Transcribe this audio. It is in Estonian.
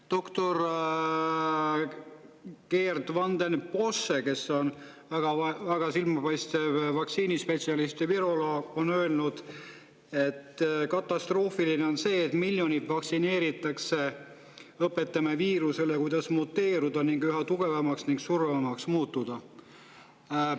Doktor Geert Vanden Bossche, kes on väga silmapaistev vaktsiinispetsialist ja viroloog, on öelnud, et katastroofiline on see, et miljoneid vaktsineeritakse ja me õpetame viirusele, kuidas muteeruda ning üha tugevamaks ning surmavamaks muutuda.